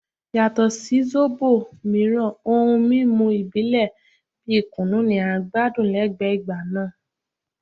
Yato si zobo miiran ohun mimu ibile bi kunu ni a gbadun lẹgbẹẹ igba naa